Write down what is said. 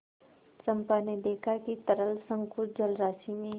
चंपा ने देखा कि तरल संकुल जलराशि में